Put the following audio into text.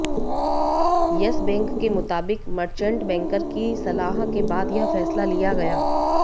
yes bank के मुताबिक merchant banker की सलाह के बाद यह फैसला लिया गया